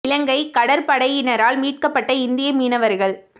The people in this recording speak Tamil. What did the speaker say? இலங்கை கடற்படையினரால் மீட்கப்பட்ட இந்திய மீனவர்கள்